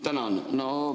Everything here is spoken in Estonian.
Tänan!